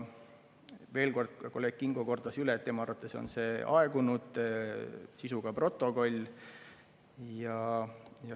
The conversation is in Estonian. Kolleeg Kingo kordas veel üle, et tema arvates on see aegunud sisuga protokoll.